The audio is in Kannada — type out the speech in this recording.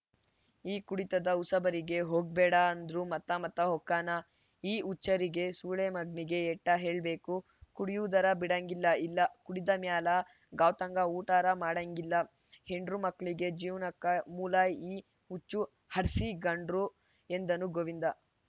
ಈ ಕುಡಿತದ ಉಸಾಬರಿಗೆ ಹೋಗ್ಬೇಡಂದ್ರು ಮತ್ತ ಮತ್ತ ಹೊಕ್ಕಾನ ಈ ಹುಚ್ಬರಿಗೆ ಸೊಳೆಮಗ್ನಿಗೆ ಏಟ್ಟಹೇಳ್ಬೇಕುಕುಡಿಯುದರ ಬಿಡಾಂಗಿಲ್ಲ ಇಲ್ಲಾ ಕುಡಿದ ಮ್ಯಾಲ ಗಾಂವ್ತಂಗ ಊಟರ ಮಾಡಾಂಗಿಲ್ಲ ಹೆಂಡ್ರು ಮಕ್ಳಿಗೆ ಜೀವ್ನಕ ಮೂಲಈ ಹುಚ್ಚ ಹಡ್ಸಿಗಂಡ್ರು ಎಂದನು ಗೋವಿಂದ